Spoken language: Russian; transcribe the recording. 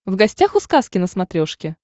в гостях у сказки на смотрешке